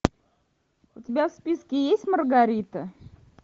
у тебя в списке есть маргарита